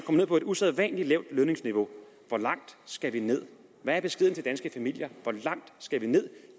ned på et usædvanlig lavt lønniveau hvor langt skal vi ned hvad er beskeden til danske familier hvor langt skal vi ned